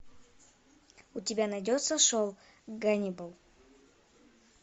у тебя найдется шоу ганнибал